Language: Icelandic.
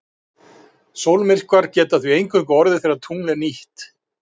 Sólmyrkvar geta því eingöngu orðið þegar tungl er nýtt.